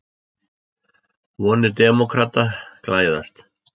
Vonir demókrata glæðast